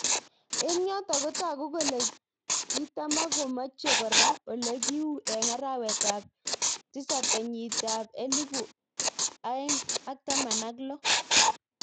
Eng yotok kotoku kole kitamakomeje kora olekiu eng arawet ab tosab kenyit elipunaeng ak taman ak lo.